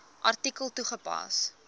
artikel toegepas